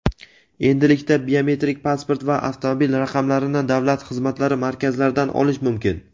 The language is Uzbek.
Endilikda biometrik pasport va avtomobil raqamlarini Davlat xizmatlari markazlaridan olish mumkin.